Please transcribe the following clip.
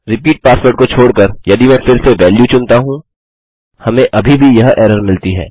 repeat password को छोड़कर यदि मैं फिर से वैल्यू चुनता हूँ हमें अभी भी यह एरर मिलती है